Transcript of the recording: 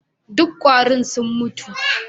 Duk kwarin sun mutu